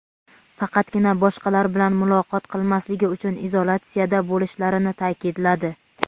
faqatgina boshqalar bilan muloqot qilmasligi uchun izolyatsiyada bo‘lishlarini ta’kidladi.